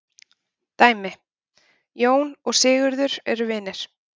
Dæmi: Jón og Sigurður eru vinir.